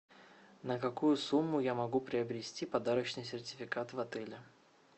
на какую сумму я могу приобрести подарочный сертификат в отеле